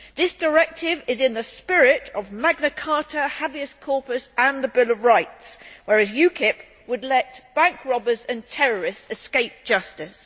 This directive is in the spirit of Magna Carta, habeas corpus and the Bill of Rights, whereas UKIP would let bank robbers and terrorists escape justice.